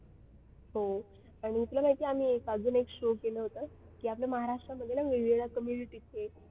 हो आणि तुला माहिती आहे आम्ही बाजूला एक show केलं होतं की आपल्या महाराष्ट्रामध्ये ना वेगवेगळ्या community चे